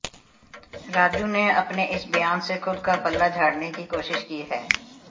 राजू ने अपने इस बयान से खुद का पल्ला झाड़ने की कोशिश की है